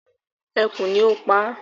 Ekú ni o paa